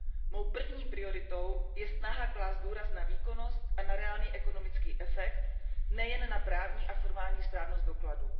Mou první prioritou je snaha klást důraz na výkonnost a na reálný ekonomický efekt, nejen na právní a formální správnost dokladů.